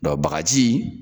Dɔ bagaji